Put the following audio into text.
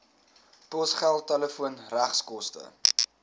posgeld telefoon regskoste